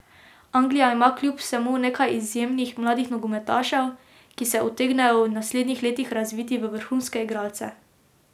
Anglija ima kljub vsemu nekaj izjemnih mladih nogometašev, ki se utegnejo v naslednjih letih razviti v vrhunske igralce.